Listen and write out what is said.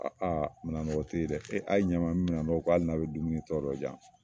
Aa minɛnɔgɔ te ye dɛ e a ye ɲɛ n man n be minɛw ko ali n'a be dumuni tɔ dɔ diyan